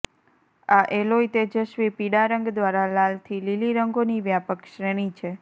આ એલોય તેજસ્વી પીળા રંગ દ્વારા લાલ થી લીલી રંગોની વ્યાપક શ્રેણી છે